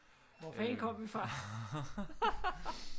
Hvor fanden kom vi fra